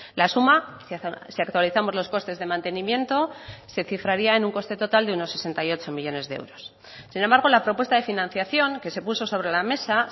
la suma si actualizamos los costes de mantenimiento se cifraría en un coste total de unos sesenta y ocho millónes de euros sin embargo la propuesta de financiación que se puso sobre la mesa